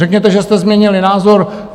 Řekněte, že jste změnili názor.